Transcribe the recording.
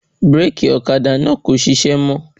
Bíràkì Ọ́kadà náà kò ṣiṣẹ́ mọ́